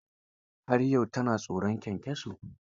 Har yau ta na tsoron kyankyaso.